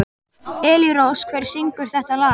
Elírós, hver syngur þetta lag?